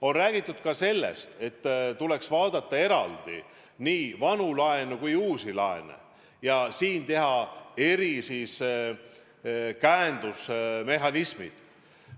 On räägitud ka sellest, et tuleks vaadata eraldi vanu laene ja uusi laene ning luua erinevad käendusmehhanismid.